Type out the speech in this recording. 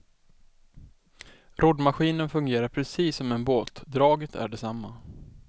Roddmaskinen fungerar precis som en båt, draget är detsamma.